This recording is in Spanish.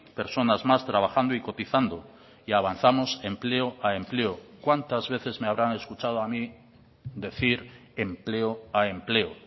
personas más trabajando y cotizando y avanzamos empleo a empleo cuántas veces me habrán escuchado a mí decir empleo a empleo